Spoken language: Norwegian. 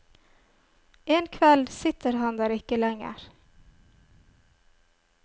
En kveld sitter han der ikke lenger.